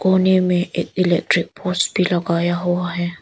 कोने में एक इलेक्ट्रिक पोस्ट भी लगाया हुआ है।